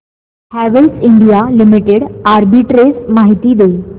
Havells India limited arbitrage माहिती दे